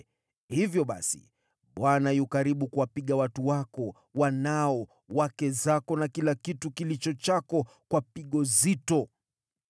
Hivyo basi Bwana yu karibu kuwapiga watu wako, wanao, wake zako na kila kitu kilicho chako, kwa pigo zito.